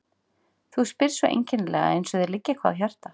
Þú spyrð svo einkennilega, eins og þér liggi eitthvað á hjarta.